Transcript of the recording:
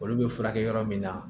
Olu bɛ furakɛ yɔrɔ min na